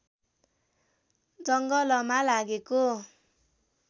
जङ्गलमा लागेको